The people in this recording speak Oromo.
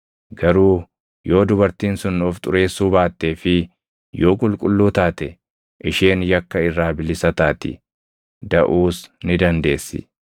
Garuu yoo dubartiin sun of xureessuu baattee fi yoo qulqulluu taate isheen yakka irraa bilisa taati; daʼuus ni dandeessi.